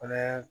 Fɛnɛ